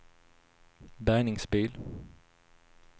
bärgningsbil